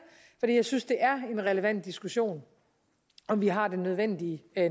fordi jeg synes det er en relevant diskussion om vi har den nødvendige